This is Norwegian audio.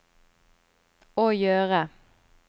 å gjøre